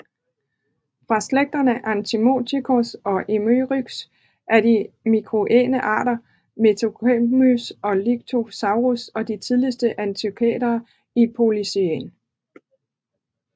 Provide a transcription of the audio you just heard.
Fra slægterne Anthracotherium og Elomeryx til de miocæne arter Merycopotamus og Libycosaurus og de tidligste anthracothere i Pliocæn